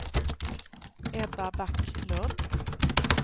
Ebba Backlund